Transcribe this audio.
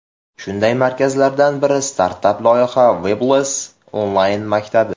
Shunday markazlardan biri startap loyiha Webclass onlayn maktabi.